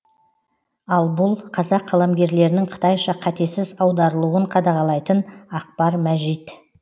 ал бұл қазақ қаламгерлерінің қытайша қатесіз аударылуын қадағалайтын ақпар мәжит